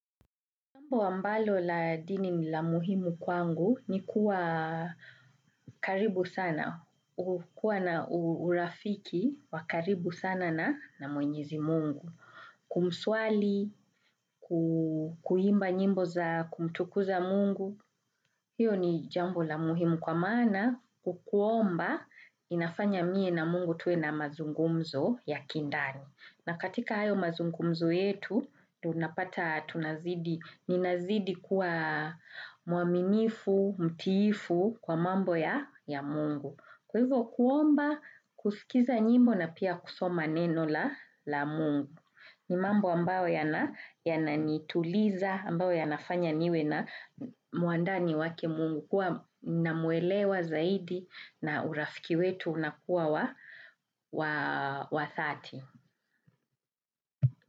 Jambo ambalo la dini ni la muhimu kwangu ni kuwa karibu sana, hukuwa na urafiki wa karibu sana na mwenyezi mungu. Kuswali, kuimba nyimbo za kumtukuza mungu, hiyo ni jambo la muhimu kwa maana kukuomba inafanya mie na mungu tuwe na mazungumzo ya kindani. Na katika hayo mazungumzo yetu, tunapata tunazidi, ninazidi kuwa muaminifu, mtiifu kwa mambo ya mungu. Kwa hivyo kuomba kusikiza nyimbo na pia kusoma neno la mungu. Ni mambo ambayo yana yananituliza, ambayo yanafanya niwe na mwandani wake mungu. Kuwa namuelewa zaidi na urafiki wetu unakuwa wa dhati.